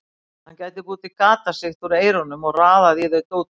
Hann gæti búið til gatasigti úr eyrunum og raðað í þau dóti.